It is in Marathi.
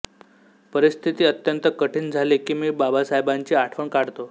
परिस्थिती अत्यंत कठीण झाली की मी बाबासाहेबांची आठवण काढतो